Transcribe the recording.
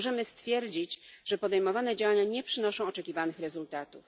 możemy stwierdzić, że podejmowane działania nie przynoszą oczekiwanych rezultatów.